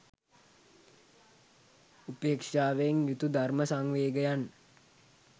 උපේක්ෂාවෙන් යුතු ධර්ම සංවේගයන්